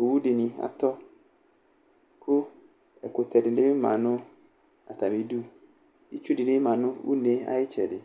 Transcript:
ɔwudini ɑtɔku ɛkutɛdi mɑnɑtɑmidu itsu mɑ nunɛ ɑyitsedi